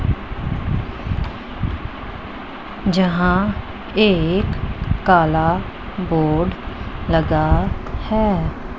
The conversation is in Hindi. जहां एक काला बोर्ड लगा है।